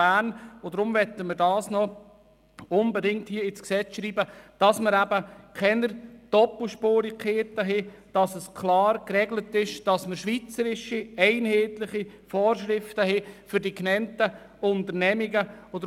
Wir möchten dies unbedingt ins Gesetz schreiben, damit keine Doppelspurigkeiten entstehen und schweizweit einheitliche Vorschriften für die genannten Unternehmungen gelten.